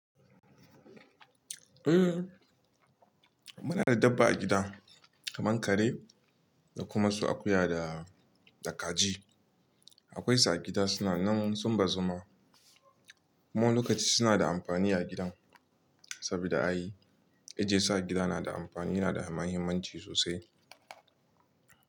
Eh muna da dabba a gida, kamar kare da kuma su akuya da kaji. Akwai su a gida suna nan sun bazu ma kuma wani lokaci suna da amfani a gidan, saboda ayi. Ajiyesu a gida na da anfani, yana da muhimmanci sosai.